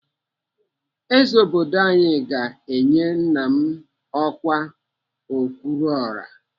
Eze obodo anyị ga-enye nna m ọkwa okwuruọra.